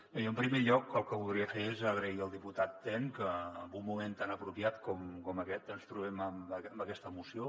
bé jo en primer lloc el que voldria fer és agrair al diputat ten que en un moment tan apropiat com aquest ens trobem amb aquesta moció